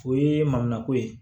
O ye manko ye